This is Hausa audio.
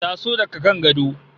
Taso daga kan gado